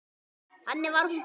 Þannig var hún Gréta.